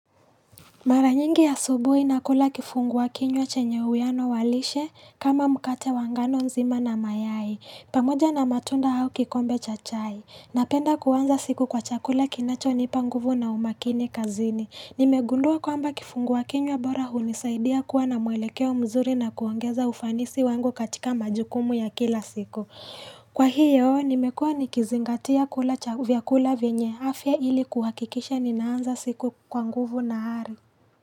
Mara nyingi asubuhi nakula kifungua kinywa chenye uwiano wa lishe kama mkate wa ngano nzima na mayai. Pamoja na matunda au kikombe cha chai. Napenda kuanza siku kwa chakula kinacho nipa nguvu na umakini kazini. Nimegundua kwamba kifungua kinywa bora hunisaidia kuwa na mwelekeo mzuri na kuongeza ufanisi wangu katika majukumu ya kila siku. Kwa hiyo nimekua nikizingatia kula vyakula vyenye afya ili kuhakikisha ninaanza siku kwa nguvu na ari.